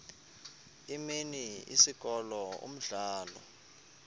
imini isikolo umdlalo